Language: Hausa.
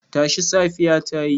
Tashi, safiya ta yi.